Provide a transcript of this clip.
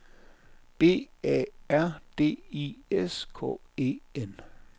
B A R D I S K E N